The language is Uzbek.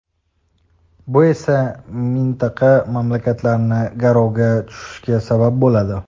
Bu esa mintaqa mamlakatlarini "garov"ga tushishiga sabab bo‘ladi.